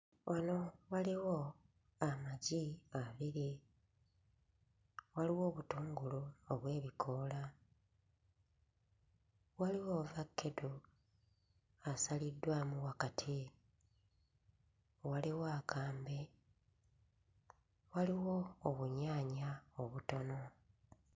Muno mulimu amagi waggulu, waliwo obutungulu obw'ebikoola, waliwo ovakkedo asaliddwamu wakati, waliwo akambe waliwo obunyaanya obutono.